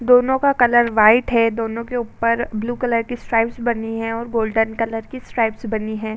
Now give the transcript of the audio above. दोनों का colour white है। दोनों के ऊपर ब्लू कलर के स्ट्रैप्स बनी हैं और गोल्डन कलर की स्ट्रैप्स बनी हैं।